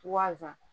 Wa